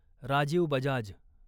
Rajiv Bajaj